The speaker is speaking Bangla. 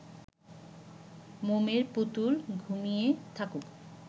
মোমের পুতুল ঘুমিয়ে থাকুক